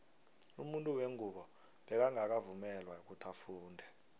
umuntu wengubo bekangaka vungelwa ifundo